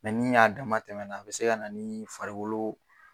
ni a dama tɛmɛnna a bɛ se ka na ni farigolo